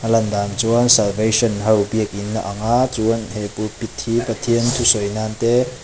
a lan dan chuan salvation ho biakin a ang a chuan he pulpit hi pathian thusawi nan te.